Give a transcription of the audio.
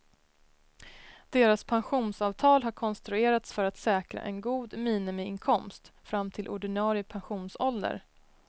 Deras pensionsavtal har konstruerats för att säkra en god minimiinkomst fram till ordinarie pensionsålder.